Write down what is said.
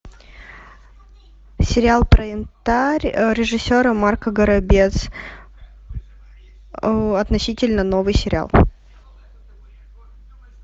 сериал про янтарь режиссера марка горобец относительно новый сериал